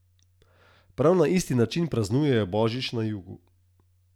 Prav na isti način praznujejo božič na jugu.